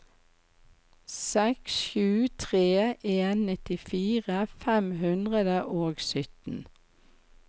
seks sju tre en nittifire fem hundre og sytten